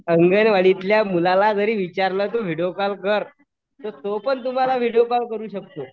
अंगणवाडीतल्या मुलाला जर विचारलं तू व्हिडीओ कॉल कर तर तो पण तुम्हाला व्हिडीओ कॉल करू शकतो.